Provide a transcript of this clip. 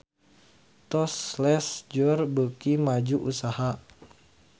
Tous Les Jour beuki maju usahana